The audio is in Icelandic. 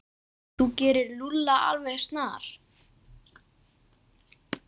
Þú gerir Lúlla alveg snar,